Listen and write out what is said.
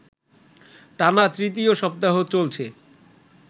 টানা তৃতীয় সপ্তাহ চলছে